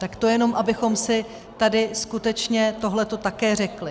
Tak to jenom abychom si tady skutečně tohleto také řekli.